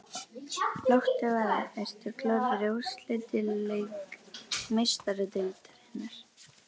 Láttu vaða- Ertu klár fyrir úrslitaleik Meistaradeildarinnar?